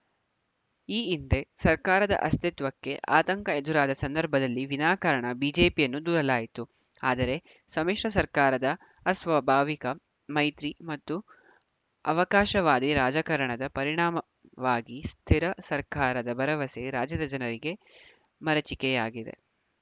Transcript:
ಈ ಹಿಂದೆ ಸರ್ಕಾರದ ಅಸ್ತಿತ್ವಕ್ಕೆ ಆತಂಕ ಎದುರಾದ ಸಂದರ್ಭಲ್ಲಿ ವಿನಾಕಾರಣ ಬಿಜೆಪಿಯನ್ನು ದೂರಲಾಯಿತು ಆದರೆ ಸಮ್ಮಿಶ್ರ ಸರ್ಕಾರದ ಅಸ್ವಾಭಾವಿಕ ಮೈತ್ರಿ ಮತ್ತು ಅವಕಾಶವಾದಿ ರಾಜಕಾರಣದ ಪರಿಣಾಮವಾಗಿ ಸ್ಥಿರ ಸರ್ಕಾರದ ಭರವಸೆ ರಾಜ್ಯದ ಜನರಿಗೆ ಮರೀಚಿಕೆಯಾಗಿದೆ